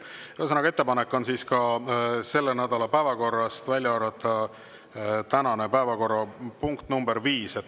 Ühesõnaga, ettepanek on selle nädala päevakorrast välja arvata tänane päevakorrapunkt nr 5.